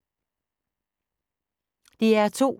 DR2